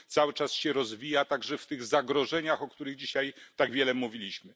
Cały czas się rozwija także w tych zagrożeniach, o których dzisiaj tak wiele mówiliśmy.